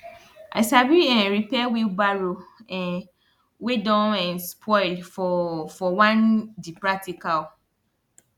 [ i sabi um repair wheelbarrow um wey don um spoil for for one di practical